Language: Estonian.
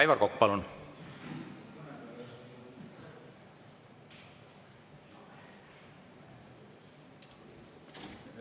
Aivar Kokk, palun!